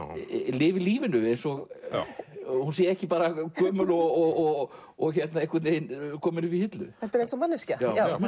lifir lífinu eins og hún sé ekki bara gömul og og einhvern veginn komin upp í hillu heldur eins og manneskja